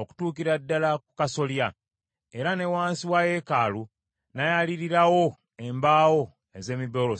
okutuukira ddala ku kasolya, era ne wansi wa yeekaalu n’ayaliirirawo embaawo ez’emiberosi.